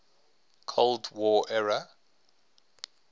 cold war era